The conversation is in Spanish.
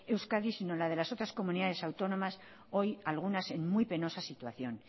euskadi sino la de las otras comunidades autónomas hoy algunas en muy penosa situación